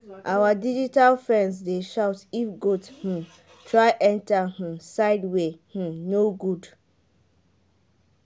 our digital fence dey shout if goat um try enter um side way um no good.